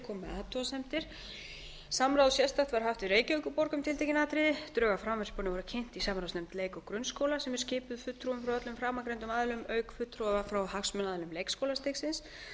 athugasemdir sérstakt samráð var haft við reykjavíkurborg um tiltekin atriði þá voru drög að frumvarpinu kynnt sérstaklega í samráðsnefnd leik og grunnskóla sem er skipuð fulltrúum frá öllum framangreindum aðilum auk fulltrúa frá hagsmunaaðilum leikskólastigsins